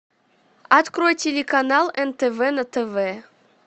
открой телеканал нтв на тв